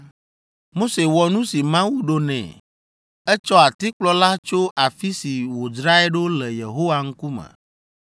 Mose wɔ nu si Mawu ɖo nɛ. Etsɔ atikplɔ la tso afi si wòdzrae ɖo le Yehowa ŋkume.